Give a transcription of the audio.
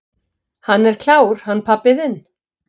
"""Hann er klár, hann pabbi þinn."""